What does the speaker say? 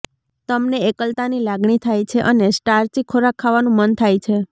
તમને એકલતાની લાગણી થાય છે અને સ્ટાર્ચી ખોરાક ખાવાનું મન થાય છે